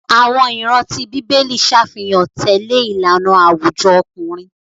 Àwọn ìran tí bíbélì ṣàfihàn tẹlẹ ìlànà àwùjọ ọkùnrin.